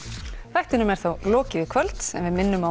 þættinum er þá lokið í kvöld en við minnum á